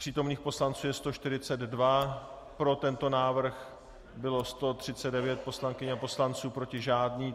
Přítomných poslanců je 142, pro tento návrh bylo 139 poslankyň a poslanců, proti žádný.